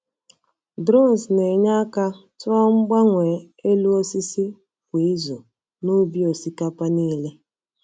Drones na-enye aka tụọ mgbanwe elu osisi kwa izu n’ubi osikapa niile.